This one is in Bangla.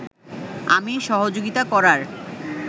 আমি সহযোগিতা করার